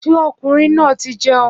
Ṣé ọkùnrin náà ti jẹun?